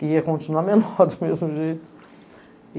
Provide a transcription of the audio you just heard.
Que ia continuar menor, do mesmo jeito.